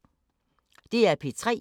DR P3